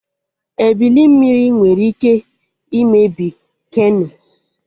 Ebili mmiri nwere ike imebi keno